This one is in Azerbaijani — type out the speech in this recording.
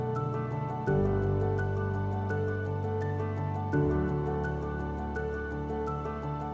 Vaxtilə sıx məskunlaşmış və çiçəklənən Füzuli şəhəri erməni işğalı zamanı tamamilə talan edilərək viran qoyulmuşdu.